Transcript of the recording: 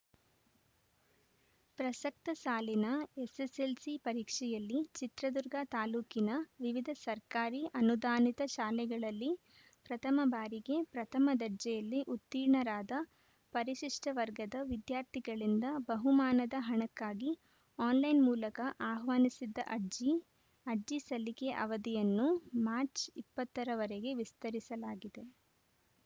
ಪ್ರಸಕ್ತ ಸಾಲಿನ ಎಸ್‌ಎಸ್‌ಎಲ್‌ಸಿ ಪರೀಕ್ಷೆಯಲ್ಲಿ ಚಿತ್ರದುರ್ಗ ತಾಲೂಕಿನ ವಿವಿಧ ಸರ್ಕಾರಿ ಅನುದಾನಿತ ಶಾಲೆಗಳಲ್ಲಿ ಪ್ರಥಮ ಬಾರಿಗೆ ಪ್ರಥಮ ದರ್ಜೆಯಲ್ಲಿ ಉತ್ತೀರ್ಣರಾದ ಪರಿಶಿಷ್ಟವರ್ಗದ ವಿದ್ಯಾರ್ಥಿಗಳಿಂದ ಬಹುಮಾನದ ಹಣಕ್ಕಾಗಿ ಆನ್‌ಲೈನ್‌ ಮೂಲಕ ಆಹ್ವಾನಿಸಿದ್ದ ಅರ್ಜಿ ಅರ್ಜಿ ಸಲ್ಲಿಕೆ ಅವಧಿಯನ್ನು ಮಾರ್ಚ್ ಇಪ್ಪತ್ತ ರವರೆಗೆ ವಿಸ್ತರಿಸಲಾಗಿದೆ